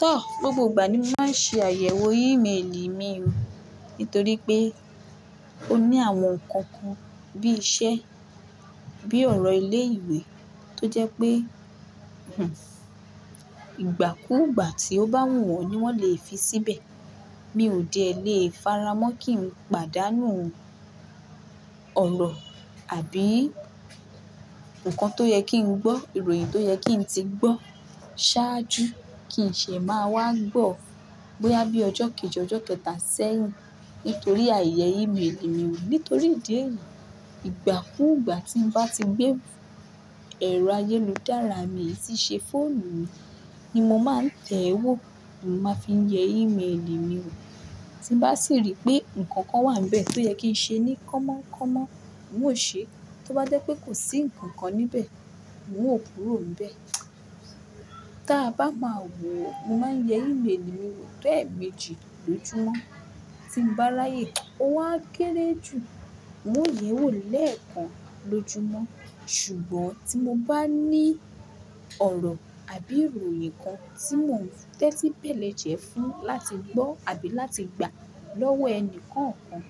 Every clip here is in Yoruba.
Tọ́ gbogbo ìgbà ni mo máa ń ṣe àyẹ̀wò email mi mọ nítorí pé ó ní àwọn nǹkan kan bí i iṣẹ́, bíi ọ̀rọ̀ ilé ìwé tó jẹ́ pé ìgbàkúùgbà tí ó bá wù wọ́n ni wọ́n lè fi síbẹ̀. Mi ò dé lè faramọ́ kí n pàdánù ọ̀rọ̀ àbí ǹkan tó yẹ kí n gbọ́, ìròyìn tó yẹ kí n ti gbọ́ ṣáájú kì í ṣe máa wá gbọ́ bóyá bí ọjọ́ kejì ọjọ́ kẹta sẹ́yìn nítorí àyẹ̀yẹ̀ email mi ò. Nítorí ìdí èyí ìgbàkúùgbà tí ń bá ti gbé ẹ̀rọ ayélujára mi tí ṣe fóònù mi ni mo máa ń tẹ̀wó máa fi ń yẹ email mi wò. Tí mo bá sì rí pé ǹkan kan wà níbẹ̀ tó yẹ kí n ṣe ní kọ́mọ kọ́mọ, n ó ṣe. Tó bá jẹ́ pé kò sí ǹkan kan níbẹ̀, n ó kúrò níbẹ̀. Tí a bá máa wò, mo máa ń yẹ email mi wò to ẹ̀méjì lọjúmọ́. Tí mo bá ráyè ó wá kéré jù, n ó yẹ̀wò lẹ́ẹ̀kan lọjúmọ́. Ṣùgbọ́n tí mo bá ní ọ̀rọ̀ àbí ìròyìn kan tí mò ń tẹ́tí bẹ̀lẹ̀ jẹ́ fún láti gbọ́ àbí láti gba lọ́wọ́ ẹni kankan,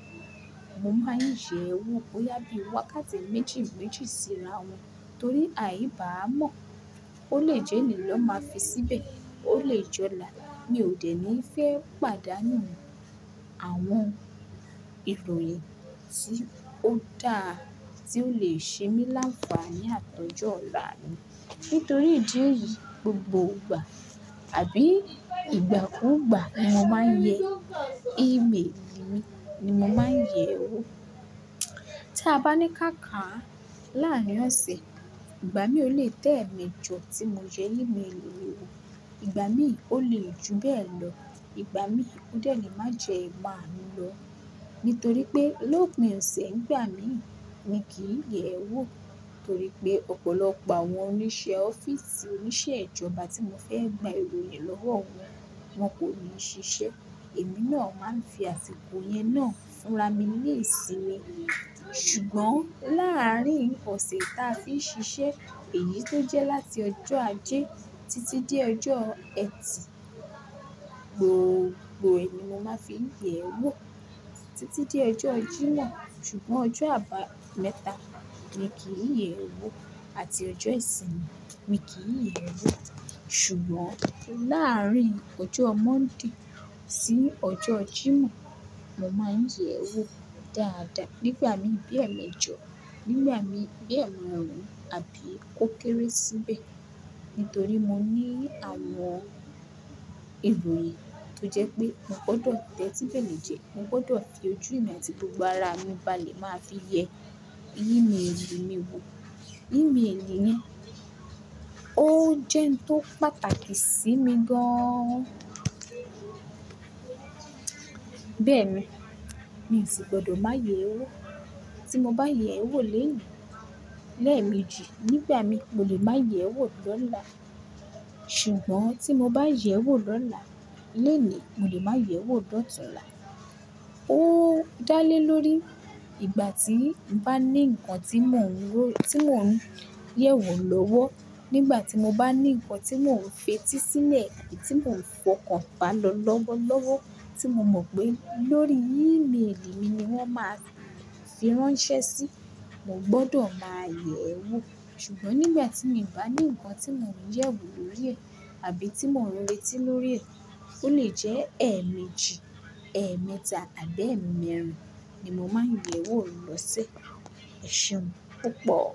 mo máa ń yẹ̀ ẹ́ wò bóyá bí ó wákáàti méjì méjì síra wọn torí àì bá mọ̀ ó lè jẹ́ni lọ́ máa fi síbẹ̀, ó lè jọ là. Mi ò dẹ̀ ní fẹ́ pàdánù àwọn ìròyìn tí ó da, tí ó lè ṣe mí láfaani àti ojọ́ ọ̀la mi. Nítorí ìdí èyí gbogbo ìgbà àbí ìgbàkúùgbà ni mo máa ń yẹ email mi, ni mo máa ń yẹ̀ ẹ́ wò. Tí a bá ní káàkà láàárín ọ̀sẹ̀, ìgbà mí ò lè to eméjọ tí mo yẹ email mi wò, ìgbà mí ò lè ju bẹ́ẹ̀ lọ, ìgbà mí ó dẹ̀ ní má ju ẹ̀marun lọ. Nítorí pé lópin ọ̀sẹ̀ nígbà mí, mi kì í yẹ̀ ẹ́ wò torí pé ọ̀pọ̀lọpọ̀ àwọn oníṣẹ́ ọ́fíìsì oníṣẹ́ ìjọba tí mo fẹ́ gba ìròyìn lọ́wọ́ wọn, wọn kò ní ṣiṣẹ́. Èmi náà máa ń fi àsìkò yẹn náà fúnra mi ní ìsinmi. Ṣùgbọ́n láàárín ọ̀sẹ̀ táa fi ń ṣiṣẹ́, èyí tó jẹ́ láti ọjọ́ ajé títí dé ọjọ́ Ẹtì gbogbo è ní mo máa fi ń yẹ̀ ẹ́ wò títí dé ọjọ́ Jímọ̀. Ṣùgbọ́n ọjọ́ àbámẹ́ta mi kì í yẹ̀ ẹ́ wò àti ọjọ́ ìsinmi mi kì í yẹ̀ ẹ́ wò. Ṣùgbọ́n láàárín ọjọ́ Monday sí ọjọ́ Jímọ̀, mo máa ń yẹ̀ ẹ́ wò dáadáa. Nígbà mí bí ẹ̀méjọ, nígbà mí bí ẹ̀márùn-ún àbí kó kéré síbẹ̀ nítorí mo ní àwọn ìròyìn tó jẹ́ pé mo gbọdọ̀ tẹ́tí bẹ̀lẹ̀ jẹ́, mo gbọdọ̀ fi ojú mi àti gbogbo ara mi bá lè máa fi yẹ email mi wò. Email ni, ó jẹ́ ohun tó pàtàkì sí mi gán. Bẹ́ẹ̀ ni, mi ò sì gbọdọ̀ má yẹ̀ ẹ́ wò. Tí mo bá yẹ̀ ẹ́ wò lónìí lẹ́ẹ̀ méjì, nígbà mí mo lè máa yẹ̀ ẹ́ wò lọ́la. Ṣùgbọ́n tí mo bá yẹ̀ ẹ́ wò lọ́la, lónìí mo lè máa yẹ̀ ẹ́ wò lọ́tùnlá. Ó dálé lórí ìgbà tí ń bá ní ǹkan tí mò ń yẹ̀ wò lọ́wọ́, nígbà tí mo bá ní ǹkan tí mò ń fi etísílẹ̀ tì tí mò ń fọkàn bá lọ lọ́wọ́lọ́wọ́ tí mo mọ̀ pé lórí email mi ni wọ́n máa fi ránṣẹ́ sí, mo gbọdọ̀ máa yẹ̀ ẹ́ wò. Ṣùgbọ́n nígbà tí mi ò bá ní ǹkan tí mò ń yẹ̀ wò lórí rẹ̀ àbí tí mò ń retí lórí rẹ̀, ó lè jẹ́ ẹ́ẹmejì, ẹ́ẹ̀mẹ́ta àbí ẹ́ẹ̀mẹ́rin ni mo máa ń yẹ̀ ẹ́ wò lọ́sẹ̀. Ẹ ṣeun púpọ̀.